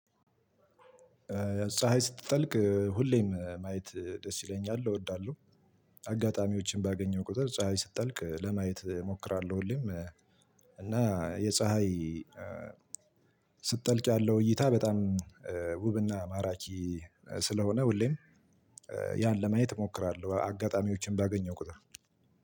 ፀሀይ ስትጠልቅ ሁሌም ማየት ደስ ይለኛል እወዳለሁ። አጋጣሚዎችን ባገኘው ቁጥር ፀሀይ ስትጠልቅ ለማየት እሞክራለሁ ሁሌም። እና የፀሀይ ስትጠልቅ ያለው እይታ በጣም ውብና ማራኪ ስለሆነ ሁሌም ያን ለማየት እሞክራለሁ። አጋጣሚዎችን ባገኘው ቁጥር።